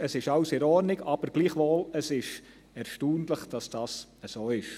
Es ist alles in Ordnung, aber gleichwohl: Es ist erstaunlich, dass dies so ist.